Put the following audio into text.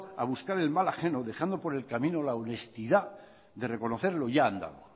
a buscar el mal ajeno dejando por el camino la honestidad de reconocer lo ya andado